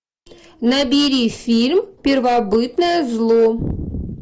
набери фильм первобытное зло